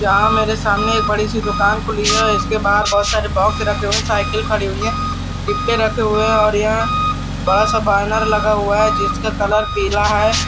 यहाँ मेरे सामने बड़ी-सी दुकान खुली है इसके बहार बहुत सारे बॉक्स हैं साइकिल कड़ी है डिब्बे रखे हुए हैं और यहाँ बड़ा-सा बैनर लगा है जिसके कलर पीला है।